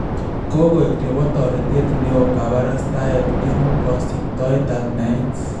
Kokoek nebo toretet neoo kabarastaet en kosiptoetab naet